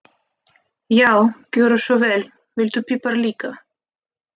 Já, gjörðu svo vel. Viltu pipar líka?